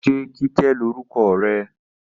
Ṣé Kíkẹ́ lórúkọ rẹ?